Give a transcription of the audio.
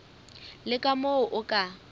le ka moo o ka